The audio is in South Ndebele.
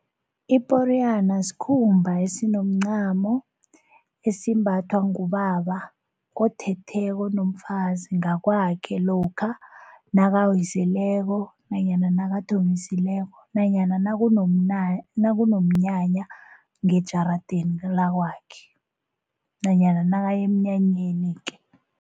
Iporiyana sikhumba esinomncamo esimbathwa ngubaba othetheko onomfazi ngakwakhe lokha nakawiseleko nanyana nakathombisileko nanyana nakunomnyanya ngejaradeni lakwakhe nanyana nakaya emnyanyeni-ke.